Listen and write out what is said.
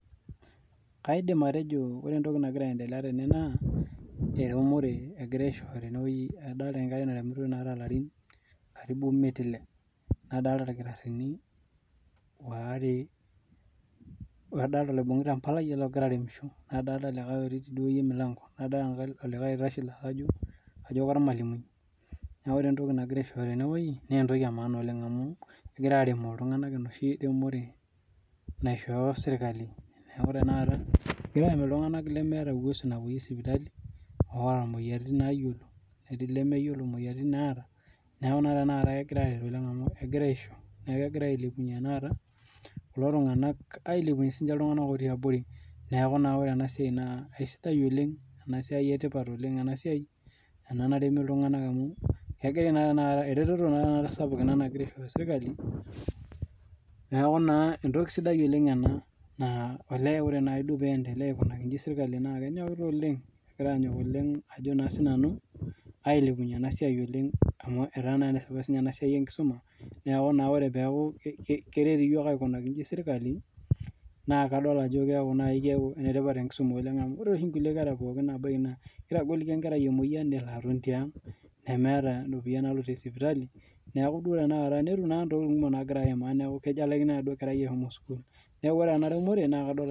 Kaidim atejo ore entoki nagira aendelea tene naa eremore egirai aishooyo tenewueji adolita enkerai naremitoi naata elarin emiet nadolita eldakitarini are adolita oloibungita embalai ologira audisho nadolita otii emilango nadolita likae laa kajo ormalimui neeku ore entoki naagirai aishooyo tenewueji naa entoki emaana amu kegirai arem iltung'ana enoshi remore naishoyo sirkali neeku egirai arem iltung'ana lemeeta uwezo napuoyie sipitali otaa moyiaritin nayiolo netii lemeyiolo moyiaritin nataa neeku naa kegirai eret tanakata aishoo niekee kegirai ailepunye tanakata kulo tung'ana ailepunye iltung'ana otii abori neeku ore enasiai naa kisidai oleng ena siai naremi iltung'ana amu eretoto sapuk ena nagiraa aishooyo sirkali neeku naa entoki sidai ena naa ore duo olee pee endelea aikoji sirkali naa kenyokita oleng kegira anyok oleng ailepunye ena siai amu etaa enetipat ena siai enkisuma neeku ore peeku keret aikoji yiok sirkali naa kadol Ajo keeku enetipat oleng enkisuma amu ore doi nkulie kera oshi pookin naa ebaiki naa kitagoliki enkerai emoyian nemeeta eropiani nalotie sipitali netum naa ntokitin kumok nagiraa ayima neeku kelikini enkerai ashomo sukuul neeku ore ena remore